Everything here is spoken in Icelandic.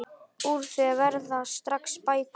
Úr því verða sex bækur.